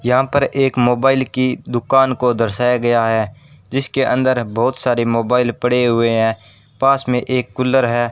यहां पर एक मोबाइल की दुकान को दर्शाया गया है जिसके अंदर बहुत सारे मोबाइल पड़े हुए हैं पास में एक कूलर है।